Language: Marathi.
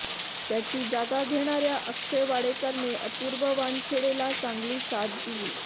त्याची जागा घेणार्या अक्षय वाडेकरने अपुर्व वानखेडेला चांगली साथ दिली